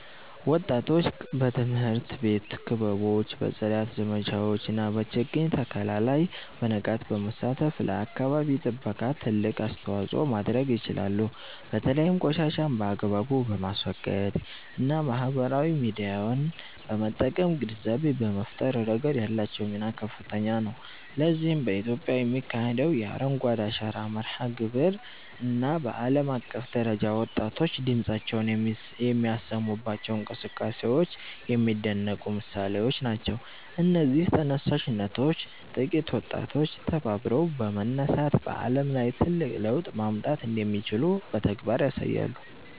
ወጣቶች በትምህርት ቤት ክበቦች፣ በጽዳት ዘመቻዎች እና በችግኝ ተከላ ላይ በንቃት በመሳተፍ ለአካባቢ ጥበቃ ትልቅ አስተዋጽኦ ማድረግ ይችላሉ። በተለይም ቆሻሻን በአግባቡ በማስወገድ እና ማህበራዊ ሚዲያን በመጠቀም ግንዛቤ በመፍጠር ረገድ ያላቸው ሚና ከፍተኛ ነው። ለዚህም በኢትዮጵያ የሚካሄደው የ"አረንጓዴ አሻራ" መርሃ ግብር እና በዓለም አቀፍ ደረጃ ወጣቶች ድምፃቸውን የሚያሰሙባቸው እንቅስቃሴዎች የሚደነቁ ምሳሌዎች ናቸው። እነዚህ ተነሳሽነቶች ጥቂት ወጣቶች ተባብረው በመነሳት በዓለም ላይ ትልቅ ለውጥ ማምጣት እንደሚችሉ በተግባር ያሳያሉ